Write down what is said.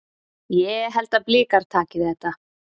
Ég held að Blikar taki þetta.